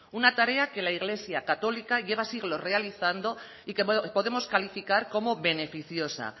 una tarea que la iglesia católica lleva siglos realizando y que podemos calificar como beneficiosa